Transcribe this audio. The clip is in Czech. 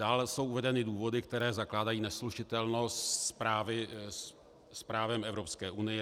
Dále jsou uvedeny důvody, které zakládají neslučitelnost s právem Evropské unie.